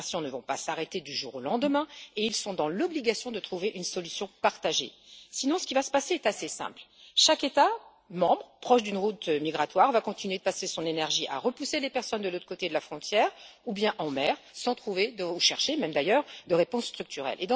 Les migrations ne vont pas s'arrêter du jour au lendemain, et ils sont dans l'obligation de trouver une solution partagée, sinon ce qui va se passer est assez simple chaque État membre proche d'une route migratoire va continuer de dépenser son énergie à repousser les personnes de l'autre côté de la frontière ou bien en mer, sans trouver ni même chercher, d'ailleurs de réponse structurelle.